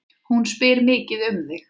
Hún spyr mikið um þig.